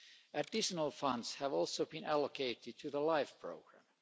Additional funds have also been allocated to the LIFE programme.